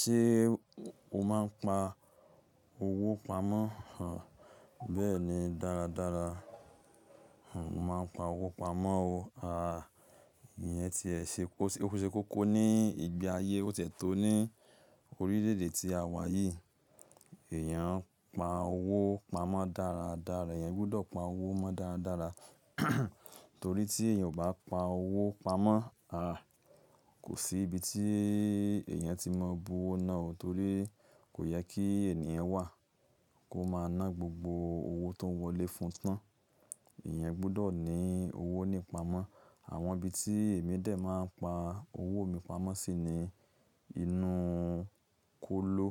Ṣé o máa ń pa owó pamọ́? Bẹ́ẹ̀ni dáradára, n máa ń pa owó pamọ́ o. Àá, ìyẹn ti ẹ ṣe kọ́kọ́ ní ìgbé ayé, ó tẹ̀ tó ní orílẹ̀ èdè tí a wà yìí. Ẹ̀yàn ń pa owó pamọ́ dáradára, ẹ̀yàn gbọ́dọ̀ pa owó mọ́ dáradára. Torí tí èèyàn ò bá pa owó pamọ́, àá kò sí ibi tí èèyàn ti máa bu owó náà o. Torí kò yẹ kí ènìyàn wà kó máa ná gbogbo owó tó wọlé fún tán. Ẹ̀yàn gbọ́dọ̀ ní owó ní pamọ́. Àwọn ibi tí èmi dè máa ń pa owó mi pamọ́ sí ni inú kóló,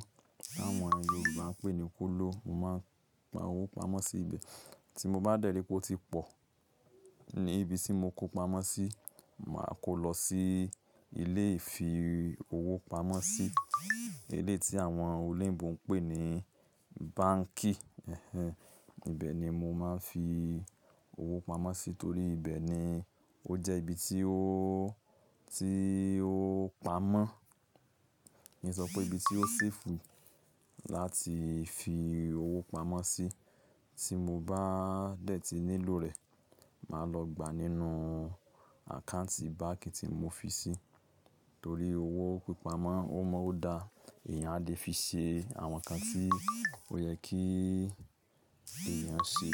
àwọn Yorùbá ń pè ní kóló. Mo máa ń pa owó pamọ́ sí ibẹ̀. Tí mo bá dẹ̀rí pé ó ti pọ̀ ní ibi tí mo kó pamọ́ sí, màá kó lọ sí ilé ìfi owó pamọ́ sí, ilé tí àwọn olèǹgbò ń pè ní báǹkì. Ibe ni mo máa ń fi owó pamọ́ sí torí ibẹ̀ ni ó jẹ́ ibi tí ó, tí ó pamọ́. Ni ìsọpọ̀ ibi tí ó safe láti fi owó pamọ́ sí. Tí mo bá dẹ̀ ti nílò rẹ̀, màá lọ gbà nínú àkáǹtì báǹkì tí mo fi sí. Torí owó pípa mọ́, ó mọ́ ó da, ẹ̀yàn á lè fi ṣe àwọn nǹkan tí ó yẹ kí ẹ̀yàn ṣe.